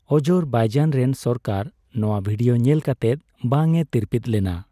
Azerbaijan ᱨᱮᱱ ᱥᱚᱨᱠᱟᱨ ᱱᱚᱣᱟ ᱵᱷᱤᱰᱤᱭᱚ ᱧᱮᱞ ᱠᱟᱛᱮᱫ ᱵᱟᱝᱮ ᱛᱤᱨᱯᱤᱫ ᱞᱮᱱᱟ ᱾